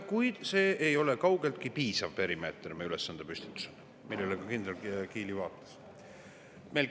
Kuid see ei ole kaugeltki piisav perimeeter meie ülesandepüstitusel, nagu ka kindral Kiili viitas.